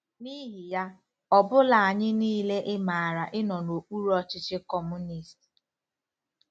N'ihi ya, ọ bụla anyị niile ịmara ịnọ n'okpuru ọchịchị Kọmunist.